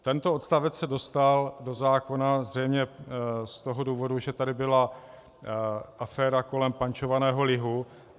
Tento odstavec se dostal do zákona zřejmě z toho důvodu, že tady byla aféra kolem pančovaného lihu.